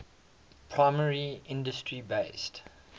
primary industry based